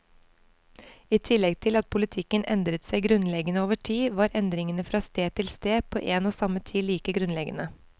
I tillegg til at politikken endret seg grunnleggende over tid, var endringene fra sted til sted på en og samme tid like grunnleggende.